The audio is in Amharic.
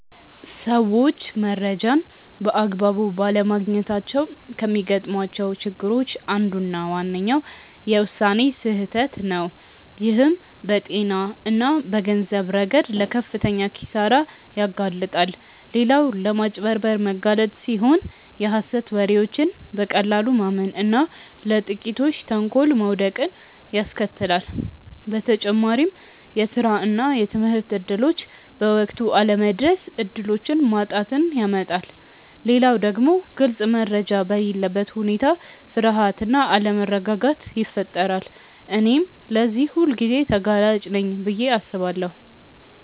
ሰዎች መረጃን በአግባቡ ባለማግኘታቸው ከሚገጥሟቸው ችግሮች አንዱና ዋነኛው የውሳኔ ስህተት ነው፣ ይህም በጤና እና በገንዘብ ረገድ ለከፍተኛ ኪሳራ ያጋልጣል። ሌላው ለማጭበርበር መጋለጥ ሲሆን የሀሰት ወሬዎችን በቀላሉ ማመን እና ለጥቂቶች ተንኮል መውደቅን ያስከትላል። በተጨማሪም የስራ እና የትምህርት እድሎች በወቅቱ አለመድረስ እድሎችን ማጣትን ያመጣል። ሌላው ደግሞ ግልጽ መረጃ በሌለበት ሁኔታ ፍርሃት እና አለመረጋጋት ይፈጠራል። እኔም ለዚህ ሁልጊዜ ተጋላጭ ነኝ ብዬ አስባለሁ።